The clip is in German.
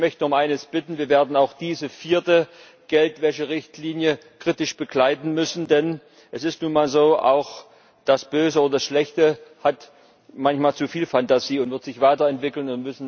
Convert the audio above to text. Ich möchte nur um eines bitten Wir werden auch diese vierte Geldwäsche Richtlinie kritisch begleiten müssen, denn es ist nun mal so Auch das Böse und das Schlechte haben manchmal zu viel Phantasie, und sie werden sich weiterentwickeln.